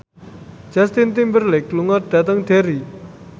Justin Timberlake lunga dhateng Derry